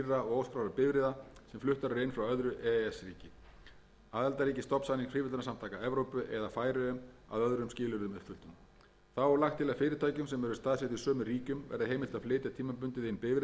og óskráðra bifreiða sem fluttar eru inn frá öðru e e s ríki aðildarríki stofnsamnings fríverslunarsamtaka evrópu eða færeyjum að öðrum skilyrðum uppfylltum þá er lagt til að fyrirtækjum sem eru staðsett í sömu ríkjum verði heimilt að flytja tímabundið inn bifreiðar fyrir starfsfólk þeirra hér á landi